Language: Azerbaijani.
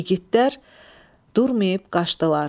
İgidlər durmayıb qaçdılar.